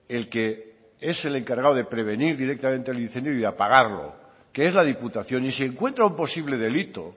el que es el encargado de prevenir directamente el incendio y apagarlo que es la diputación y si encuentra un posible delito